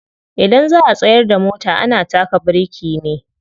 Idan za'a tsayar da mota ana taka biriki ne.